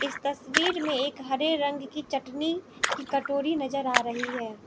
इस तस्वीर में एक हरे रंग की चटनी की कटोरी नजर आ रही हैं।